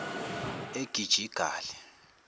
egijigali